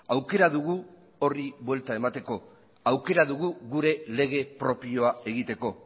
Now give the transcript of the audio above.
aukera dugu horri buelta emateko aukera dugu gure lege propioa egiteko